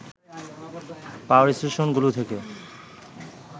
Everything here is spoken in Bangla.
পাওয়ার স্টেশন গুলো থেকে